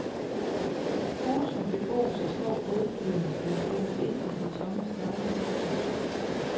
Husene bebos af små bløddyr, der er flyttet ind i de tomme sneglehuse.